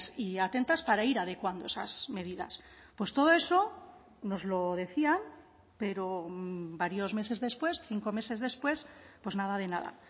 y atentas para ir adecuando esas medidas pues todo eso nos lo decían pero varios meses después cinco meses después pues nada de nada